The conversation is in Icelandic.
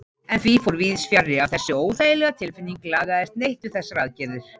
En því fór víðsfjarri að þessi óþægilega tilfinning lagaðist neitt við þessar aðgerðir.